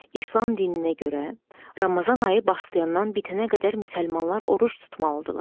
İslam dininə görə, Ramazan ayı başlayandan bitənə qədər müsəlmanlar oruc tutmalıdırlar.